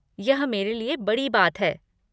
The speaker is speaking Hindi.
यह मेरे लिए बड़ी बात है।